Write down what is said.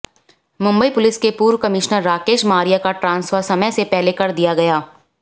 Mumbai police के पूर्व commissioner Rakesh Maria का ट्रांसफर समय से पहले कर दिया गया